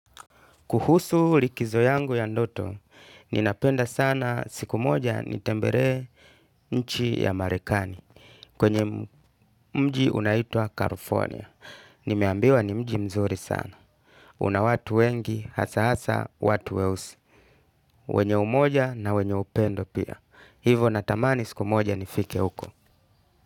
Kuhusu likizo yangu ya ndoto, ninapenda sana siku moja nitembere nchi ya marekani kwenye mji unaitwa California. Nimeambiwa ni mji mzuri sana. Una watu wengi, hasa hasa, watu weusi. Wenye umoja na wenye upendo pia. Hivo natamani siku moja nifike uko.